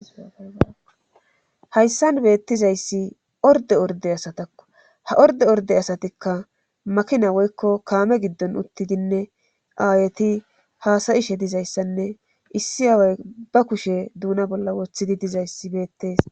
Hayssan beettizayssi orde orde asatakko ha orde orde asatikka makina woykko kaame giddon uttidinne aayeti haasayishe dizayssanne issi aaway ba kushe duuna bolla wothidi dizayssi beettees.